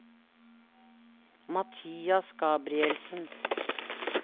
Mathias Gabrielsen